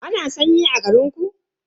Ana sanyi a garinku?